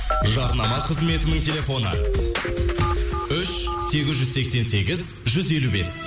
жарнама қызметінің телефоны үш сегіз жүз сексен сегіз жүз елу бес